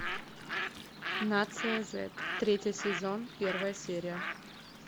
нация зет третий сезон первая серия